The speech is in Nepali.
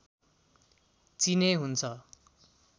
चिने हुन्छ